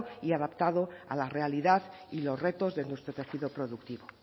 y adaptado a la realidad y los retos de nuestro tejido productivo